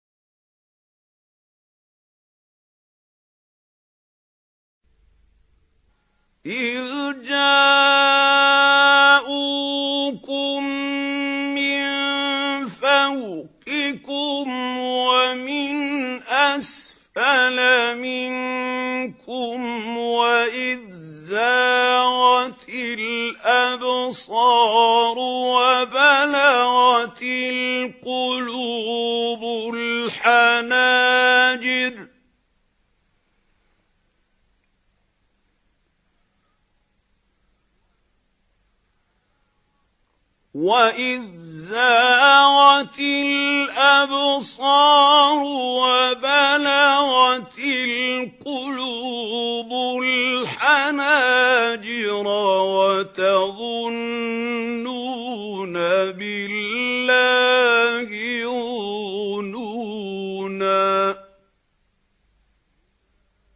إِذْ جَاءُوكُم مِّن فَوْقِكُمْ وَمِنْ أَسْفَلَ مِنكُمْ وَإِذْ زَاغَتِ الْأَبْصَارُ وَبَلَغَتِ الْقُلُوبُ الْحَنَاجِرَ وَتَظُنُّونَ بِاللَّهِ الظُّنُونَا